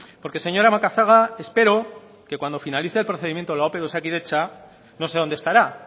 porque señora macazaga espero que cuando finalice el procedimiento de la ope de osakidetza no sé dónde estará